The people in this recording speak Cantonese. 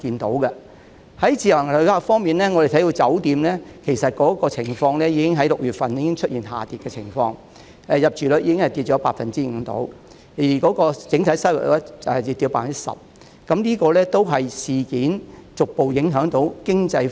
在自由行旅客方面，我們看到6月份酒店旅客已出現下跌的情況，入住率下跌約 5%， 而整體收入亦下跌 10%， 這可能顯示事件正逐步影響經濟。